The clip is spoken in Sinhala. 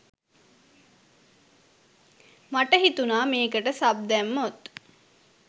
මට හිතුණා මේකට සබ් දැම්මොත්